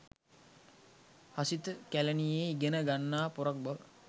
හසිත කැලනියේ ඉගෙන ගන්නා පොරක් බව